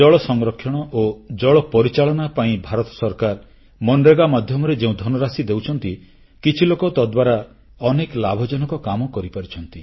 ଜଳ ସଂରକ୍ଷଣ ଓ ଜଳ ପରିଚାଳନା ପାଇଁ ଭାରତ ସରକାର ମନରେଗା ମାଧ୍ୟମରେ ଯେଉଁ ଧନରାଶି ଦେଉଛନ୍ତି କିଛି ଲୋକ ତାଦ୍ୱାରା ଅନେକ ଲାଭଜନକ କାମ କରିପାରିଛନ୍ତି